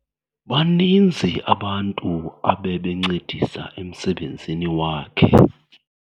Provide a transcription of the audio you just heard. Baninzi abantu abebencedisa emsebenzini wakhe.